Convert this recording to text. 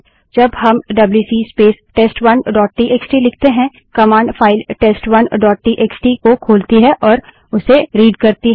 जब हम WC space test one dot TXT लिखते हैं command file test one dot TXT को खोलती और उससे रीड़ पढ़ती करती है